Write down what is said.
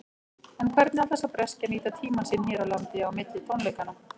En hvernig ætlar sá breski að nýta tímann sinn hér á landi á milli tónleikanna?